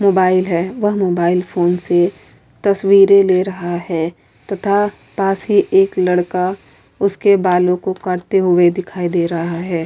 Mobile है। वह mobile phone से तस्वीरें ले रहा है तथा पास ही एक लड़का उसके बालों को करते हुए दिखाई दे रहा है।